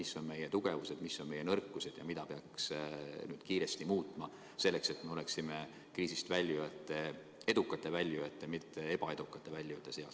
Mis on meie tugevused, mis on meie nõrkused ja mida peaks kiiresti muutma, selleks et me oleksime edukate kriisist väljujate, mitte ebaedukate väljujate seas?